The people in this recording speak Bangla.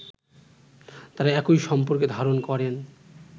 তারা একই সম্পর্ক ধারণ করেন